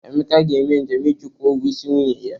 Emeka ga-eme njem iji kwụọ ụgwọ isi nwunye ya